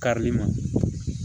Karili ma